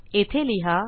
येथे लिहा